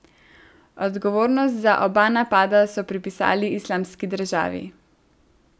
Odgovornost za oba napada so pripisali Islamski državi.